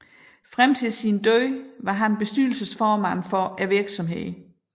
Frem til sin død var han bestyrelsesformand for virksomheden